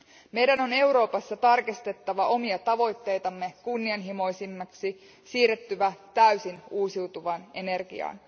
Meidän on Euroopassa tarkistettava omia tavoitteitamme kunnianhimoisemmiksi, siirryttävä täysin uusiutuvaan energiaan.